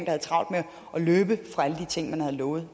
havde travlt med at løbe fra alle de ting man havde lovet